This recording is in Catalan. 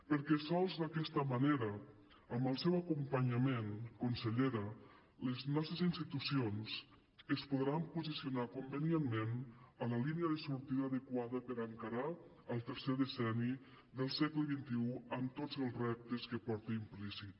perquè sols d’aquesta manera amb el seu acompanyament consellera les nostres institucions es podran posicionar convenientment a la línia de sortida adequada per encarar el tercer decenni del segle xxi amb tots els reptes que porta implícit